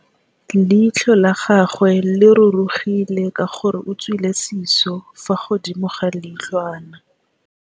Leitlhô la gagwe le rurugile ka gore o tswile sisô fa godimo ga leitlhwana.